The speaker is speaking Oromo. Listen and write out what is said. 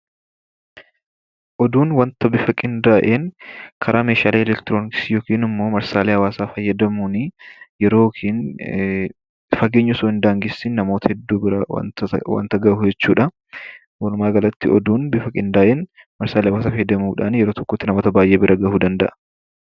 Oduun bifa qinda'een karaa meshalee elektirokisittin yookiin immoo karaallee marsallee hawaasa fayyadamuni yeroofi fageenyii utuu hin dangesiin namoota heduu biraa wanta gahuu jechuudha. Walumagalatti oduun bifa qinda'en marsallee hawasaa fayyadamuudhan yeroo tokkotti naamoota baay'ee biraa gahuu danda'a.